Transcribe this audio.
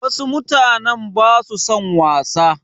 Wasu mutanen ba su son wasa.